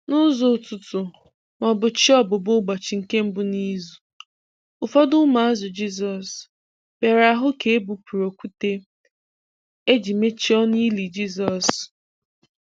N’ụzọ ụtụtụ/chi ọbùbọ̀ ụbọchị nke mbu n’izu, ụfọdụ ụmụazụ Jisọs bịara hụ ka e bupụrụ okwute eji wee mechie ọnụ ili Jisọs.